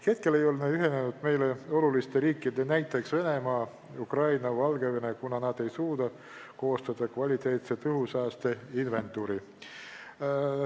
Veel ei ole ühinenud meile olulised riigid, näiteks Venemaa, Ukraina ja Valgevene, kuna nad ei suuda koostada kvaliteetset õhusaaste inventuuri.